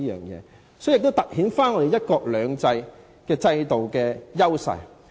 這樣做也凸顯了"一國兩制"的優勢。